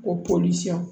Ko